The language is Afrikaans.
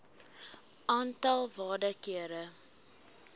aantal waarde kere